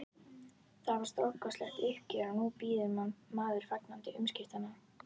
Það var stórkostlegt uppgjör og nú bíður maður fagnandi umskiptanna.